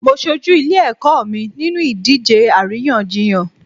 Mo ṣojú ilé ẹ̀kọ́ mi nínú ìdíje àríyànjiyàn.